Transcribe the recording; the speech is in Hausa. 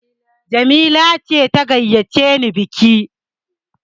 Jamila ce ta gayyace ni biki!